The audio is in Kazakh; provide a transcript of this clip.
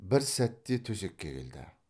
бір сәтте төсекке келді